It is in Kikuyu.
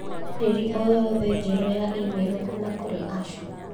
ndũmĩrĩri o yothe njerũ ya i-mīrū kuuma kũrĩ Asha.